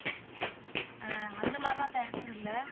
ஆஹ் அந்த மாரியெல்லாம் நான் எடுத்தது இல்ல